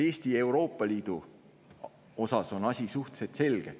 Eesti ja Euroopa Liidu puhul on asi suhteliselt selge.